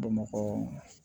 Bamakɔ